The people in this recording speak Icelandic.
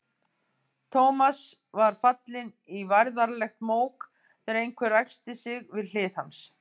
Thomas var fallinn í værðarlegt mók þegar einhver ræskti sig við hlið hans.